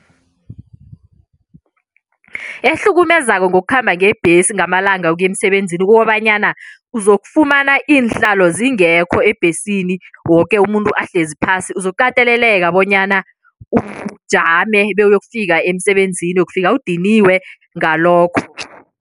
Ehlukumezako ngokukhamba ngebhesi ngamalanga ukuya emsebenzini kukobanyana uzokufumana iinhlalo zingekho ebhesini, woke umuntu ahlezi phasi. Uzokukateleleka bonyana ujame bewuyokufika emsebenzini, uyokufika udiniwe ngalokho.